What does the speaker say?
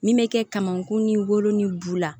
Min bɛ kɛ kamankun ni wolo ni bu la